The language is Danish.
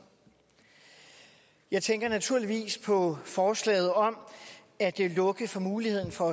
jeg tænker naturligvis på forslaget om at lukke for muligheden for